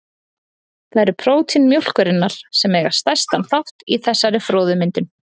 Það eru prótín mjólkurinnar sem eiga stærstan þátt í þessari froðumyndun.